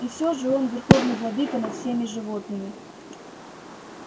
и всё же он верховный владыка над всеми животными